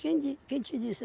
Quem di quem te disse?